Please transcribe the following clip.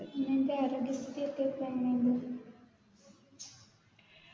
നിൻറെ ആരോഗ്യ സ്ഥിതി ഒക്കെ ഇപ്പൊ എങ്ങനെ ഇണ്ട്